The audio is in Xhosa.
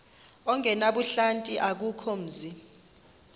ongenabuhlanti akukho mzi